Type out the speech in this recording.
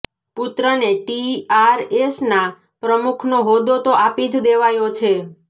પુત્રને ટીઆરએસના પ્રમુખનો હોદ્દો તો આપી જ દેવાયો છે